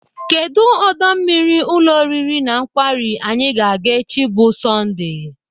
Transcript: Kedụ ọdọ mmiri ụlọ oriri na nkwari anyị ga-aga echi bụ Sọndee?